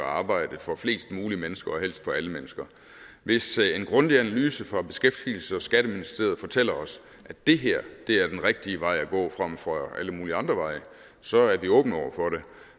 arbejde for flest mulige mennesker og helst for alle mennesker hvis en grundig analyse fra beskæftigelses og skatteministeriet fortæller os at det her er den rigtige vej at gå frem for alle mulige andre veje så er vi åbne over for det